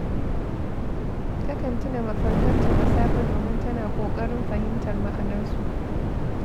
Takan tuna mafarkanta da safe domin tana ƙoƙarin fahimtar ma’anarsu.